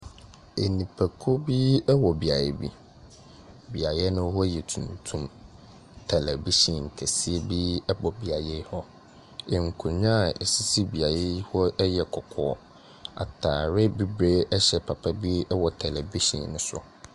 Nnipakuo bi wɔ beaeɛ bi. Beaeɛ no hɔ yɛ tuntum. Television kɛseɛ bi bɔ beaeɛ hɔ. Nkonnwa a ɛsisi beaeɛ yi hɔ yɛ kɔkɔɔ. Atadeɛ bibire hyɛ papa bi wɔ television no so.